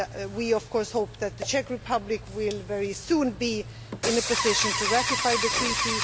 We of course hope that the Czech Republic will very soon be in a position to ratify the Treaty.